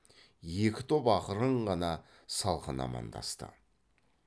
екі топ ақырын ғана салқын амандасты